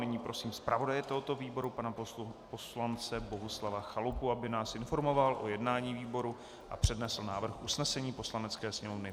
Nyní prosím zpravodaje tohoto výboru pana poslance Bohuslava Chalupu, aby nás informoval o jednání výboru a přednesl návrh usnesení Poslanecké sněmovny.